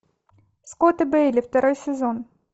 скотт и бейли второй сезон